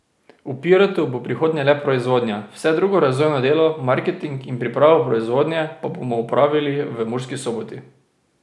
V Pirotu bo v prihodnje le proizvodnja, vse drugo razvojno delo, marketing in pripravo proizvodnje pa bomo opravili v Murski Soboti.